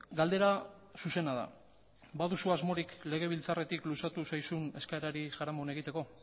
galdera zuzena da baduzu asmorik legebiltzarretik luzatu zaizun eskaerari jaramon egiteko